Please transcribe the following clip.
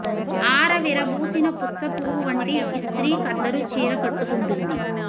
ఆరవిరబూసిన పుచ్చ పువ్వు వంటి యిస్త్రీ ఖద్దరు చీర కట్టు కుంటుంది